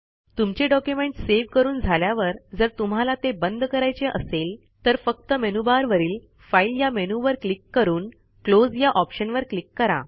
तुमचे document save करून झाल्यावर जर तुम्हाला ते बंद करायचे असेल तर फक्त मेनूबारवरील फाईल या मेनूवर क्लिक करून क्लोज या ऑप्शनवर क्लिक करा